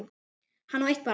Hann á eitt barn.